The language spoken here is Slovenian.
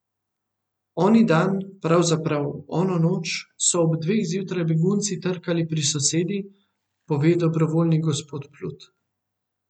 Oni dan, pravzaprav ono noč, so ob dveh zjutraj begunci trkali pri sosedi, pove dobrovoljni gospod Plut.